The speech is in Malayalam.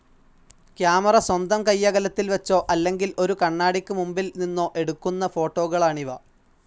കാമറ സ്വന്തം കൈയ്യകലത്തിൽ വെച്ചോ, അല്ലെങ്കിൽ ഒരു കണ്ണാടിക് മുൻപിൽ നിന്നോ എടുക്കുന്ന ഫോട്ടോകളാണിവ.